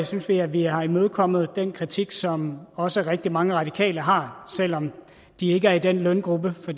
synes vi at vi har imødekommet den kritik som også rigtig mange radikale har selv om de ikke er i den løngruppe for